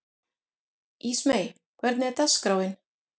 Ísmey, hvernig er dagskráin?